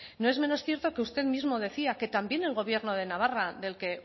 no es menos cierto que usted mismo decía que también el gobierno de navarra del que